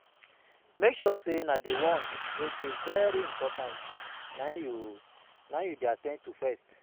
Mek sure sey di ones wey dey very important na im yu na im yu dey at ten d to first